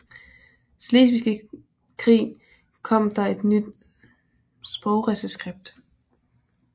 Slesvigske Krig kom der et nyt sprogreskript